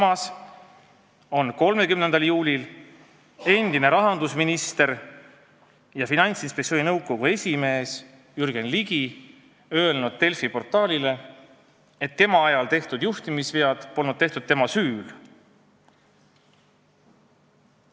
Samas on 30. juulil endine rahandusminister ja Finantsinspektsiooni nõukogu esimees Jürgen Ligi öelnud Delfi portaalile, et tema ajal tehtud juhtimisvead polnud tehtud tema süül.